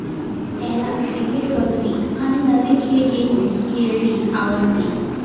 त्याला क्रिकेट बघणे आणि नवे खेळ घेऊन खेळणे आवडते